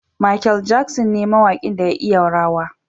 Mikel Jackson ne mawakin da ya iya rawa.